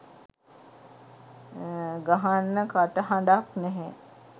ගහන්න කටහඬක් නෑ